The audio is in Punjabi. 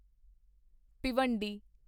ਭਿਵੰਡੀ